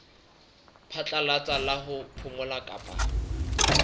phatlalatsa la ho phomola kapa